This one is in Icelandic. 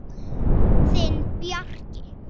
Þinn Bjarki.